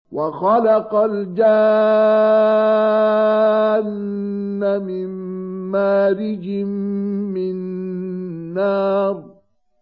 وَخَلَقَ الْجَانَّ مِن مَّارِجٍ مِّن نَّارٍ